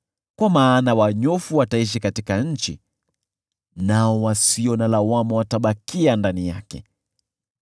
Kwa maana wanyofu wataishi katika nchi, nao wasio na lawama watabakia ndani yake.